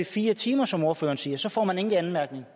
fire timer som ordføreren siger så får man ingen anmærkninger